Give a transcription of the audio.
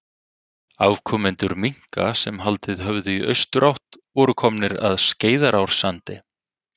Afkomendur minka sem haldið höfðu í austurátt voru komnir að Skeiðarársandi.